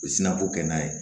U bɛ sirako kɛ n'a ye